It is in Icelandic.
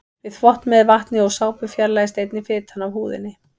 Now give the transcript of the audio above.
Við þvott með vatni og sápu fjarlægist einnig fitan af húðinni.